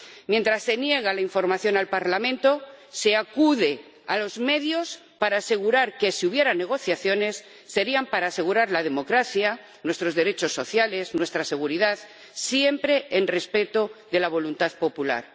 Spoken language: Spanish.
Mientras se niega la información al Parlamento se acude a los medios para asegurar que, si hubiera negociaciones, serían para asegurar la democracia, nuestros derechos sociales, nuestra seguridad, siempre respetando la voluntad popular.